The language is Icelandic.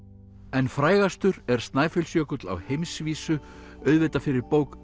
en frægastur er Snæfellsjökull á heimsvísu auðvitað fyrir bók